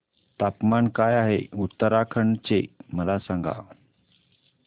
तापमान काय आहे उत्तराखंड चे मला सांगा